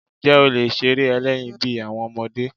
Ǹjẹ́ o lè ṣeré ẹlẹ́yin bí àwọn ọmọdé?